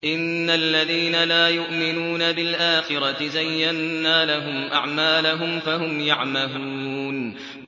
إِنَّ الَّذِينَ لَا يُؤْمِنُونَ بِالْآخِرَةِ زَيَّنَّا لَهُمْ أَعْمَالَهُمْ فَهُمْ يَعْمَهُونَ